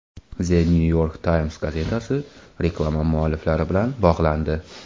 The New York Times gazetasi reklama mualliflari bilan bog‘landi.